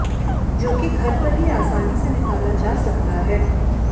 जो कि घर पर ही आसानी से निकाला जा सकता है